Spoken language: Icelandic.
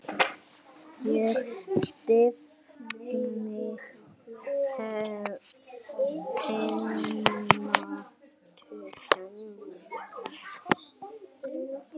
Ég stefni heim til hennar.